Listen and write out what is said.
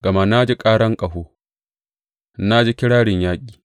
Gama na ji karan ƙaho; na ji kirarin yaƙi.